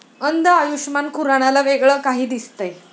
अंध आयुषमान खुरानाला वेगळं काही दिसतंय!